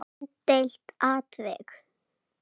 Umdeilt atvik?